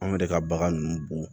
Anw yɛrɛ ka bagan ninnu bo